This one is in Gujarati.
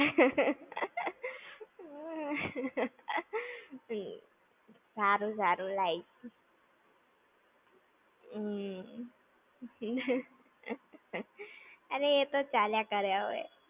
હમ્મ, સારુ સારુ, લાઈશ. હમ્મ અરે એ તો ચાલ્યા કરે હવે.